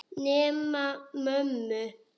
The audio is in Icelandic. Nema mömmu.